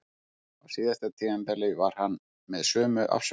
Á síðasta tímabili var hann með sömu afsökun.